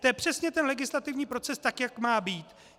To je přesně ten legislativní proces, tak jak má být.